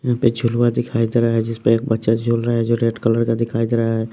यहाँ पे झुलुआ दिखाई दे रहा है जिस पे एक बच्चा झूल रहा है जो रेड कलर का दिखाई दे रहा है।